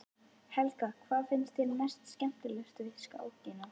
Helga: Hvað finnst þér mest skemmtilegast við skákina?